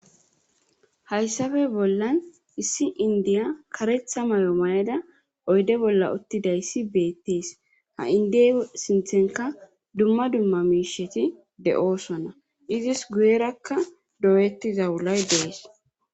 Hayssafe bollan issi indiya karetha mayo mayada oyde bolla uttidayssi beettees ha indey sinthenka dumma dumma miisheti de7oosonna izis guyerakka dooyettiza wulay dees